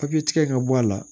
Papiye tigɛ in ka bɔ a la